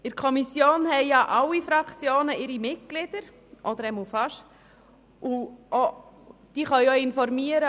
In den Kommissionen sind die Mitglieder fast aller Fraktionen vertreten.